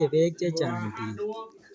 Mache peek chechang' piik